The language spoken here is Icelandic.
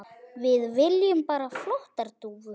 Við viljum bara flottar dúfur.